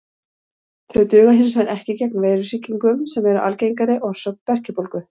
Þau duga hins vegar ekki gegn veirusýkingum sem eru algengari orsök berkjubólgu.